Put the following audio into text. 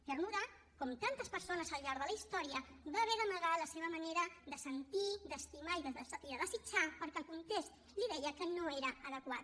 cernuda com tantes persones al llarg de la història va haver d’amagar la seva manera de sentir d’estimar i de desitjar perquè el context li deia que no era adequat